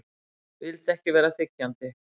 Vildi ekki vera þiggjandi.